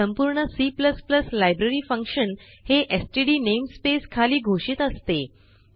संपूर्णC library function हे STD namespace खाली घोषित असते